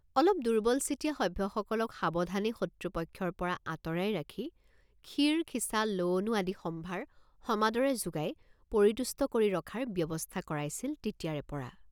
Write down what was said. অলপ দুৰ্বলচিতীয়া সভ্যসকলক সাৱধানে শত্ৰুপক্ষৰপৰা আঁতৰাই ৰাখি ক্ষীৰখিচালৱণু আদি সম্ভাৰ সমাদৰে যোগাই পৰিতুষ্ট কৰি ৰখাৰ ব্যৱস্থা কৰাইছিল তেতিয়াৰেপৰা।